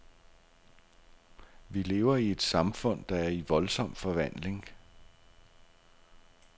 Vi lever i et samfund, der er i voldsom forvandling.